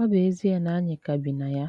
ọ̀ bụ́ èzìe na ànyị ka bì na ya.